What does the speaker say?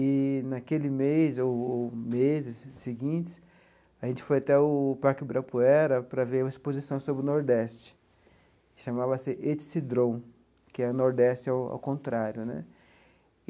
Eee, naquele mês ou ou meses seguintes, a gente foi até o Parque Ibirapuera para ver uma exposição sobre o Nordeste, que chamava-se Etsedron, que é o Nordeste ao ao contrário né.